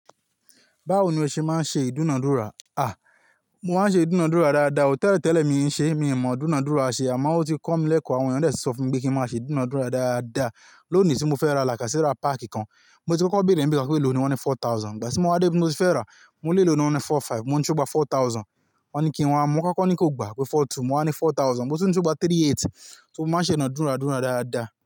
Báwo ni o ṣe máa ń ṣe ìdúnadúrà? Mo máa ń ṣe ìdúnadúrà dáadáa. Tẹ́lẹ̀ tẹ́lẹ̀ mi ṣe, mi ò mọ ìdúnadúrà ṣe àmọ́ ó ti kọ́ mi lẹ́kọ̀ọ́, àwọn èèyàn de ti sọ fún mi pé kí n máa ṣe ìdúnadúrà dáadáa. Lónìí tí mo fẹ́ ra làkasẹ́rà páàkì kan, mo ti kọ́kọ́ béèrè n bi kan pé elòní wọ́n ní four thousand. Ìgbà tí mo wa wá dé ibi tí mo fẹ́ ràá, mo lé èló ní wọ́n ní four-five, mo ni se o gbà four thousand, wọ́n ní kí n wá mu, mo kọ́kọ́ ní kó gbà pé four-two, mo wá ní four thousand, mo tún ni se o gbà three-eight. So mo máa ń ṣe ìdúnadúrà dáadáa.